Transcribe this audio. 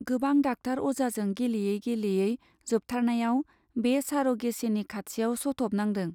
गोबां डाक्टार अजाजों गेलेयै गेलेयै जोबथारनायाव बे सार' गेचिनि खाथियाव सथ' बनांदों।